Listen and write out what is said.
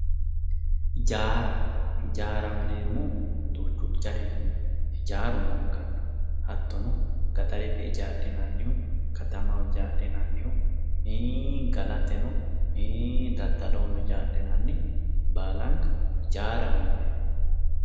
Hijaara, hjiaaraho yineemmohu duuchu garihu hijaaru noonkanni hattono gaxarete hijaadhinnannihu, katamaho hijaadhinnannihu ii'i gallateno, ii'i daddolloho hijaadhinanniha baallanka hijaaraho yineemmo.